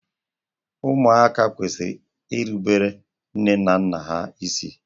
Ụmụaka kwesịrị ị na-erubere nne na nna ha isi.